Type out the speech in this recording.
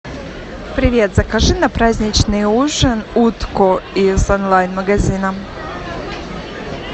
привет закажи на праздничный ужин утку из онлайн магазина